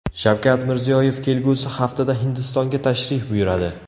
Shavkat Mirziyoyev kelgusi haftada Hindistonga tashrif buyuradi.